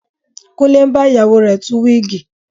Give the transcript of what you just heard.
Kúnlé ń bá ìyàwó rẹ̀ tú wíìgì